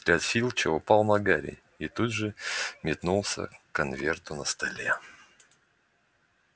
взгляд филча упал на гарри и тут же метнулся к конверту на столе